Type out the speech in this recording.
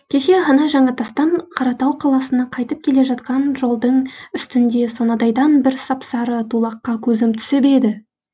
кеше ғана жаңатастан қаратау қаласына қайтып келе жатқан жолдың үстінде сонадайдан бір сап сары тулаққа көзім түсіп еді